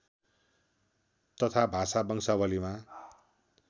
तथा भाषा वंशावलीमा